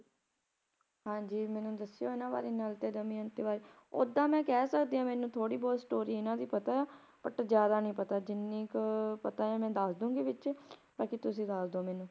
ਹਾਂਜੀ ਮੈਨੂੰ ਦਸਿਓ ਇਹਨਾਂ ਬਾਰੇ ਨਲ ਤੇ ਦਮਿਅੰਤੀ ਬਾਰੇ ਓਹਦਾ ਮੈਂ ਕਹਿ ਸਕਦੀ ਥੋੜੀ ਬਹੁਤ story ਇਹਨਾਂ ਦੀ ਪਤਾ but ਜਿਆਦਾ ਨੀ ਪਤਾ ਜਿੰਨੀ ਕ ਅਹ ਪਤਾ ਆ ਮੈਂ ਦਸਦੂੰਗੀ ਵਿੱਚ ਬਾਕੀ ਤੁਸੀ ਦਸਦੋ ਮੈਨੂੰ